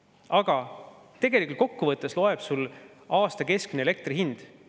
Aga tegelikult, kokkuvõttes loeb aasta keskmine elektri hind.